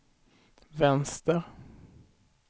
vänster